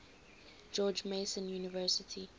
george mason university